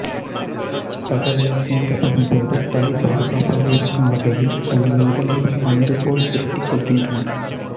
பகலில் சீண்டப்படும் போது தலை பாதுகாப்பாக இருக்கும் வகையில் தங்கள் உடலைப் பந்து போல் சுருட்டிக் கொள்கின்றன